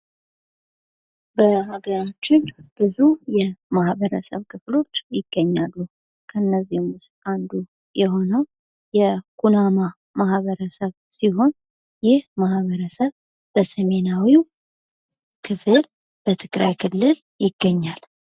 በሀገራችን ብዙ የማህበረሰብ ክፍሎች ይገኛሉ። እነዚህም ውስጥ አንዱ የሆነው የኩናማ ማህበረሰብ ሲሆን ይህ ማህበረሰብ በሰሜናዊው ክፍል በትግራይ ክልል ይገኛል።